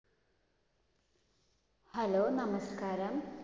Hello നമസ്കാരം.